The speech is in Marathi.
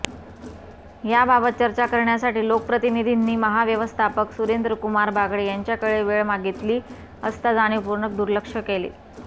याबाबत चर्चा करण्यासाठी लोकप्रतिनिधींनी महाव्यवस्थापक सुरेंद्रकुमार बागडे यांच्याकडे वेळ मागितली असता जाणीवपूर्वक दुर्लक्ष केले